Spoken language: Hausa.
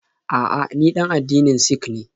A'a, ni ɗan addinin Sik ne.